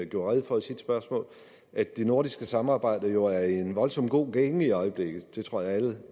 gjorde rede for i sit spørgsmål at det nordiske samarbejde jo er i en voldsomt god gænge i øjeblikket det tror jeg at alle